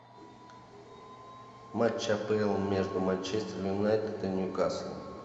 матч апл между манчестер юнайтед и ньюкасл